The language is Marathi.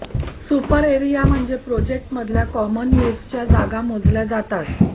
सुपर एरिया म्हणजे प्रोजेक्टमधल्या कॉमन यूजच्या जागा मोजल्या जातात